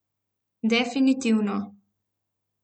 Definitivno.